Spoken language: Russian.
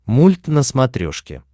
мульт на смотрешке